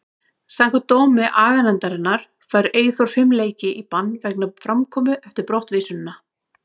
Samkvæmt dómi aganefndarinnar fær Eyþór fimm leiki í bann vegna framkomu eftir brottvísunina.